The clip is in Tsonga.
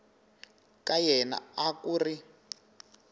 ka yena a ku ri